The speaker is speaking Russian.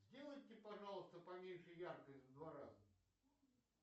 сделайте пожалуйста поменьше яркость в два раза